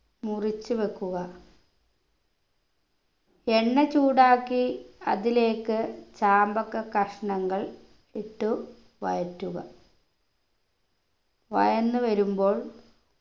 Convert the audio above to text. മുറിച്ചു വെക്കുക എണ്ണ ചൂടാക്കി അതിലേക്ക് ചാമ്പക്ക കഷ്ണങ്ങൾ ഇട്ടു വഴറ്റുക വഴന്നു വരുമ്പോൾ